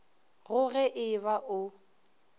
go ge e ba o